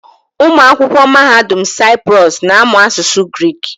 Ụmụ akwụkwọ Mahadum Saịprọs na-amụ asụsụ Grik.